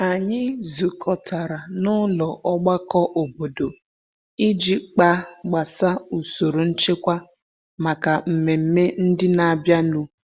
Anyị zukọtara na ụlọ ọgbakọ obodo iji kpa gbasa usoro nchekwa maka mmemme ndị n'abịa nu.